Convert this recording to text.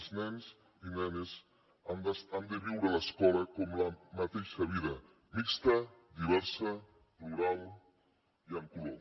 els nens i nenes han de viure l’escola com la mateixa vida mixta diversa plural i amb color